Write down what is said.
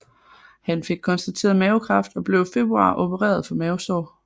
Han fik konstateret mavekræft og blev i februar opereret for mavesår